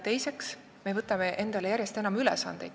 Samuti võtame me endale järjest enam ülesandeid.